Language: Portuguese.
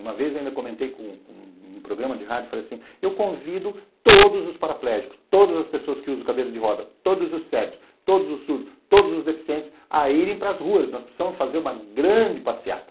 Uma vez eu ainda comentei num programa de rádio e falei assim, eu convido todos os paraplégicos, todas as pessoas que usam cadeira de roda, todos os cegos, todos os surdos, todos os deficientes a irem para as ruas, nós precisamos fazer uma grande passeata.